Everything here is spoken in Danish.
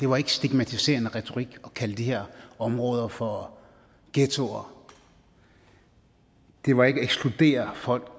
var ikke stigmatiserende retorik og at kalde de her områder for ghettoer det var ikke at ekskludere folk